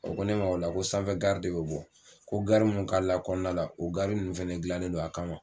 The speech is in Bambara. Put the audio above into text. O ko ne ma o la ko sanfɛ gari de bɛ bɔ, ko gari mun kaala kɔɔna la o gari nun fɛnɛ dilannen don a kama.